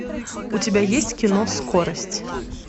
у тебя есть кино скорость